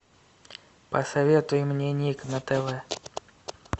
посоветуй мне ник на тв